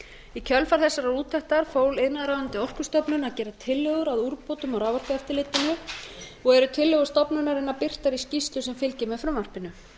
í kjölfar þessarar úttektar fól iðnaðarráðuneytið orkustofnun að gera tillögur að úrbótum á raforkueftirlitinu og eru tillögur stofnunarinnar birtar í skýrslu sem fylgir með frumvarpinu